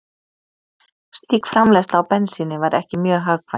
Slík framleiðsla á bensíni væri ekki mjög hagkvæm.